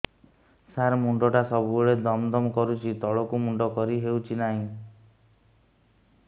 ସାର ମୁଣ୍ଡ ଟା ସବୁ ବେଳେ ଦମ ଦମ କରୁଛି ତଳକୁ ମୁଣ୍ଡ କରି ହେଉଛି ନାହିଁ